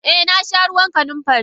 Eh nasha ruwan kanunfari.